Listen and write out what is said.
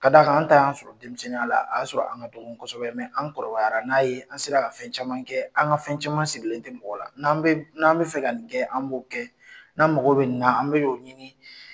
K d'a kan an ta y'an sɔrɔ denmisɛnninya la, a y'a sɔrɔ an ka dɔgɔ kosɛbɛ, mɛ an kɔrɔbayara n'a ye, an sera ka fɛn caman kɛ ,an ka fɛn caman sigilen tɛ mɔgɔ la n'an bɛ fɛ ka nin kɛ an bo kɛ n'an magɔw bɛ nin na an bo ɲini